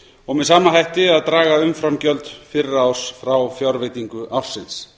og með sama hætti að draga umframgjöld fyrra árs frá fjárveitingu ársins